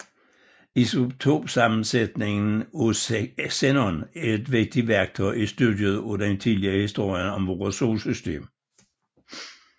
Isotopsammensætningen af xenon er et vigtigt værktøj i studiet af den tidlige historie om vores solsystem